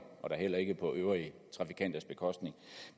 og da heller ikke på øvrige trafikanters bekostning